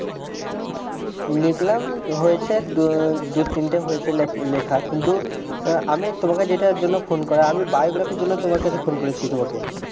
লিখলাম হয়েছে দু তিনটে লেখা হয়েছে শুধু আমি তোমাকে যেটার জন্য phone করা আমি তোমাকে biography এর জন্য ফোন করেছি তোমাকে